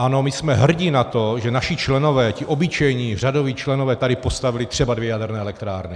Ano, my jsme hrdí na to, že naši členové, ti obyčejní řadoví členové tady postavili třeba dvě jaderné elektrárny.